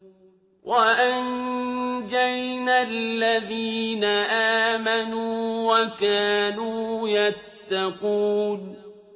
وَأَنجَيْنَا الَّذِينَ آمَنُوا وَكَانُوا يَتَّقُونَ